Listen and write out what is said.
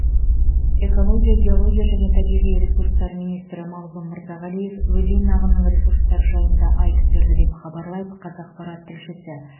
экология геология және табиғи ресурстар министрі мағзұм мырзағалиев өзен ағынының ресурстары жайында айтып берді деп хабарлайды қазақпарат тілшісі